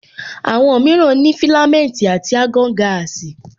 Àwọn mìíràn ní filamenti àti argon gaasi